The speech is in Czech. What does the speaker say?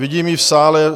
Vidím ji v sále.